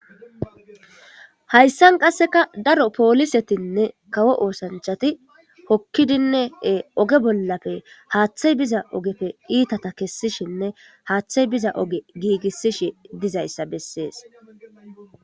Hayssan qasseka daro poolisetinne kawo oosanchati hokkidinee oge bollafe haaththay biza ogefe iitata kessishinne haaththay biza oge giigissishi dizayssa bessees.